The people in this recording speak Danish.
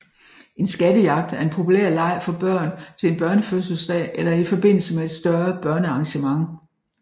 En skattejagt er en populær leg for børn til en børnefødselsdag eller i forbindelse med et større børnearrangement